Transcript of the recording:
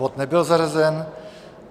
Bod nebyl zařazen.